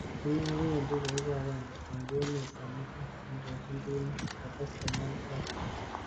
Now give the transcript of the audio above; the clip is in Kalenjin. Ine kowendi koeku agenge eng emet komugul cheondijin timit. kates komwa Lusaga.